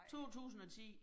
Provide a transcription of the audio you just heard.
2010